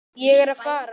Ég er að fara.